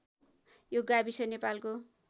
यो गाविस नेपालको